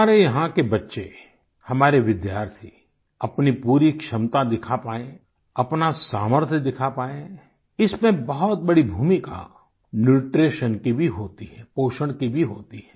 हमारे यहाँ के बच्चे हमारे विद्यार्थी अपनी पूरी क्षमता दिखा पाएं अपना सामर्थ्य दिखा पाएं इसमें बहुत बड़ी भूमिका न्यूट्रीशन की भी होती है पोषण की भी होती है